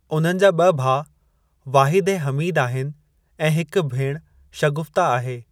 उन्हनि जा ब॒ भाउ वाहिद ऐं हमीद आहिनि ऐं हिकु भेण शगुफ्ता आहे।